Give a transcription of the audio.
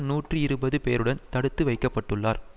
நூற்றி இருபது பேருடன் தடுத்து வைக்க பட்டுள்ளார்